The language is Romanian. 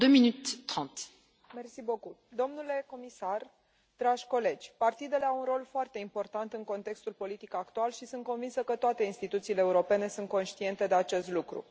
Doamnă președintă, domnule comisar, dragi colegi, partidele au un rol foarte important în contextul politic actual și sunt convinsă că toate instituțiile europene sunt conștiente de acest lucru.